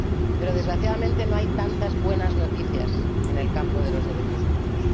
Pero, desgraciadamente, no hay tantas buenas noticias en el campo de los derechos humanos.